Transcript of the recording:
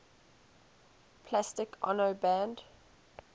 plastic ono band